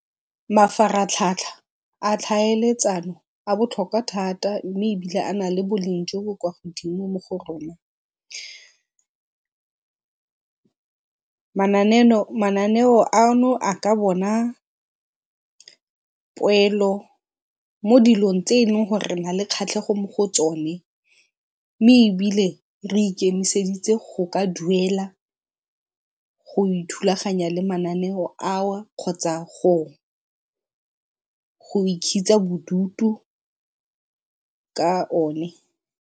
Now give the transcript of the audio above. Mafaratlhatlha a tlhaeletsano a botlhokwa thata mme ebile a na le boleng jo bo kwa godimo mo go rona. mananeo ano a ka bona poelo mo dilong tse e leng gore re na le kgatlhego mo go tsone mme ebile re ikemiseditse go ka duela go ithulaganya le mananeo ao kgotsa go bodutu ka one.